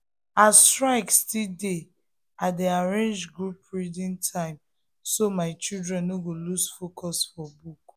as strike still dey i um dey arrange group reading time so my children no go lose focus for book.